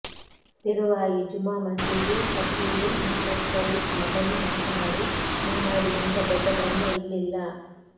ಪೆರುವಾಯಿ ಜುಮಾ ಮಸೀದಿ ಖತೀಬು ಮಹಮ್ಮದ್ ಶರೀಪ್ ಮದನಿ ಮಾತನಾಡಿ ಮಾನವರಿಗಿಂತ ದೊಡ್ಡ ಧರ್ಮ ಇಲ್ಲಿಲ್ಲ